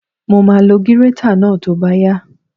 Mo máa lo gírétà náà tó bá yá